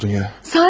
Nə oldu dünya?